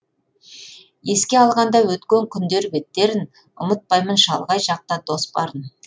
еске алғанда өткен күндер беттерін ұмытпаймын шалғай жақта дос барын